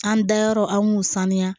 An dayɔrɔ an b'u sanuya